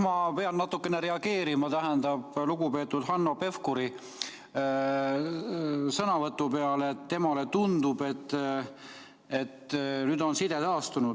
Ma pean natukene reageerima lugupeetud Hanno Pevkuri sõnavõtu peale, et temale tundub, et nüüd on side taastunud.